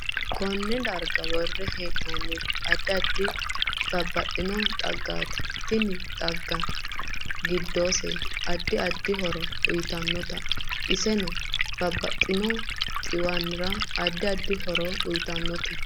KOnne daega worre heenoniri addi addi baadixaggati tini xagga giddose addi addi horo uyiitanote iseno babbaxino xiwanira addi sddi horo uyiitanote